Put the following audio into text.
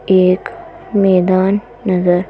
एक मैदान नज़र--